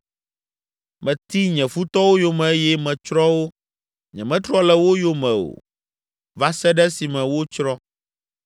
“Meti nye futɔwo yome eye metsrɔ̃ wo; nyemetrɔ le wo yome o, va se ɖe esime wotsrɔ̃.